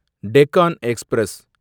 Deccan express